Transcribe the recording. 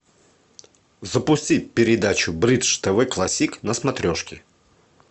запусти передачу бридж тв классик на смотрешке